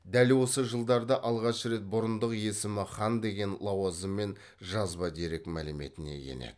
дәл осы жылдарда алғаш рет бұрындық есімі хан деген лауазыммен жазба дерек мәліметіне енеді